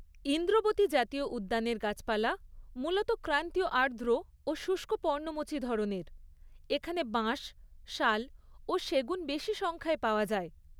ইন্দ্রবতী জাতীয় উদ্যানের গাছপালা মূলত ক্রান্তীয় আর্দ্র ও শুষ্ক পর্ণমোচী ধরনের, এখানে বাঁশ, শাল ও সেগুন বেশী সংখ্যায় পাওয়া যায়।